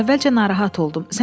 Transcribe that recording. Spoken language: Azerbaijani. Əvvəlcə narahat oldum.